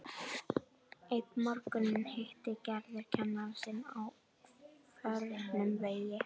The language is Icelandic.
Einn morguninn hittir Gerður kennara sinn á förnum vegi.